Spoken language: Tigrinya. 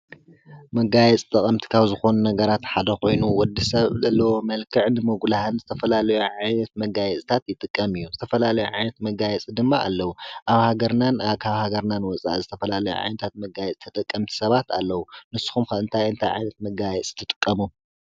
መጋያ ጽተቐምቲካዊ ዝኾኑ ነገራት ሓደ ኾይኑ ወዲ ሰብ ሎ መልከዕድ መጕላህን ዝተፈላለዮ ዓይነት መጋየፅታት ይጥቀም እዩ ዝተፈላለዩ ዓይነት መጋየጽ ድማ ኣለዉ ኣብ ሃገርናን ኣካብ ሃገርናን ወፃ ዝተፈላለዮ ዓይንታት መጋይ ዝተጠቀምቲ ሰባት ኣለዉ ንስኹም ከእንታይ እንቲ ዓይነት መጋየፂ ትጥቀሙ?